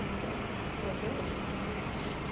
E ficamos, estou até hoje.